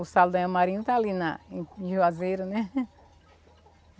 O sal está ali em em juazeiro, né?